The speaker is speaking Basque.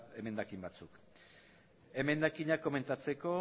emendakin batzuk emendakinak komentatzeko